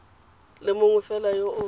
le mongwe fela yo o